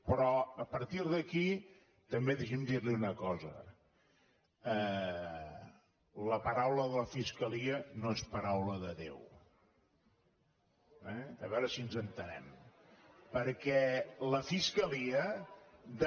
però a partir d’aquí també deixi’m dir·li una cosa la pa·raula de la fiscalia no és paraula de déu eh a veure si ens entenem